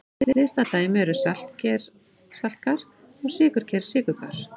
Hliðstæð dæmi eru saltker-saltkar og sykurker-sykurkar.